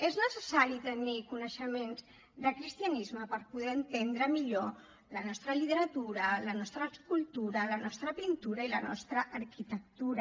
és necessari tenir coneixements de cristianisme per poder entendre millor la nostra literatura la nostra escultura la nostra pintura i la nostra arquitectura